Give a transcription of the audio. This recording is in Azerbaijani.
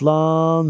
Atlan!